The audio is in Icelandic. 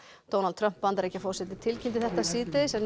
Donald Trump Bandaríkjaforseti tilkynnti þetta síðdegis en